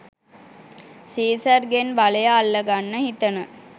සීසර්ගෙන් බලය අල්ලගන්න හිතන